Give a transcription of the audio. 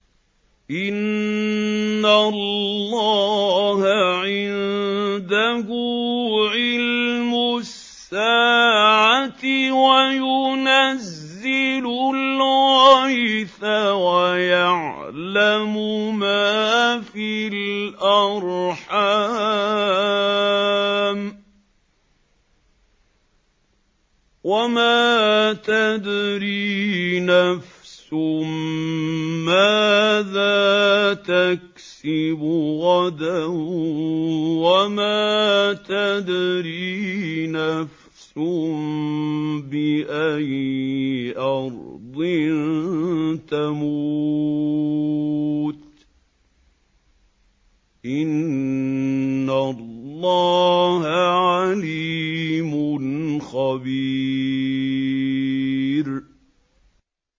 إِنَّ اللَّهَ عِندَهُ عِلْمُ السَّاعَةِ وَيُنَزِّلُ الْغَيْثَ وَيَعْلَمُ مَا فِي الْأَرْحَامِ ۖ وَمَا تَدْرِي نَفْسٌ مَّاذَا تَكْسِبُ غَدًا ۖ وَمَا تَدْرِي نَفْسٌ بِأَيِّ أَرْضٍ تَمُوتُ ۚ إِنَّ اللَّهَ عَلِيمٌ خَبِيرٌ